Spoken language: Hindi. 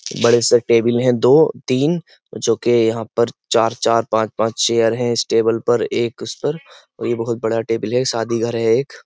बड़े से टेबल हैं दो तीन जो कि यहाँ पर चार चार पांच पांच चेयर हैं इस टेबल पर एक उस पर और यह बहुत बड़ा टेबल है शादी घर है एक।